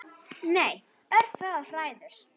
Nei, örfáar hræður.